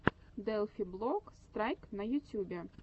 делфи блок страйк на ютюбе